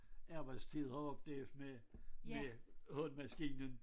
Arbejdstid har oplevet med hulmaskinen